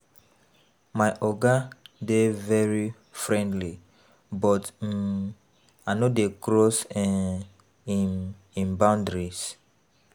My oga dey very friendly but um I no dey cross um im im boundaries.